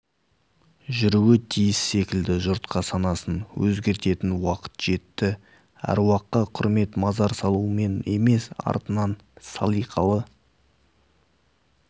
жүруі тиіс секілді жұртқа санасын өзгертетін уақыт жетті аруаққа құрмет мазар салумен емес артынан салиқалы